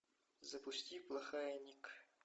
запусти плохая ник